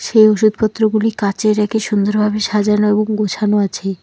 এই ওষুধপত্রগুলি কাঁচের রেকে সুন্দরভাবে সাজানো এবং গোছানো রয়েছে।